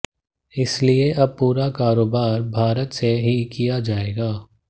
इसलिए अब पूरा कारोबार भारत से ही किया जाएगा